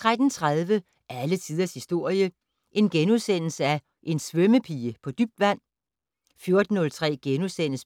13:30: Alle tiders historie: En svømmepige på dybt vand? * 14:03: